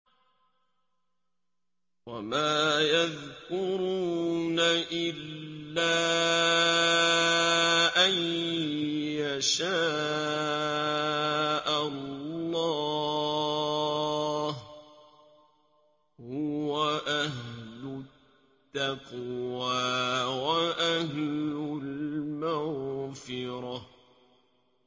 وَمَا يَذْكُرُونَ إِلَّا أَن يَشَاءَ اللَّهُ ۚ هُوَ أَهْلُ التَّقْوَىٰ وَأَهْلُ الْمَغْفِرَةِ